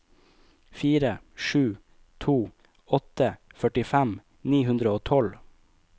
fire sju to åtte førtifem ni hundre og tolv